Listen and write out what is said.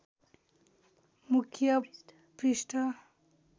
मुख्य पृष्ठ